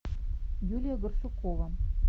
юлия барсукова